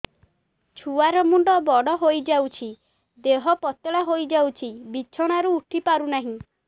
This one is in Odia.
ଛୁଆ ର ମୁଣ୍ଡ ବଡ ହୋଇଯାଉଛି ଦେହ ପତଳା ହୋଇଯାଉଛି ବିଛଣାରୁ ଉଠି ପାରୁନାହିଁ